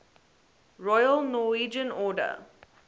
royal norwegian order